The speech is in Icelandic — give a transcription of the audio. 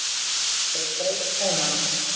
og greip taumana.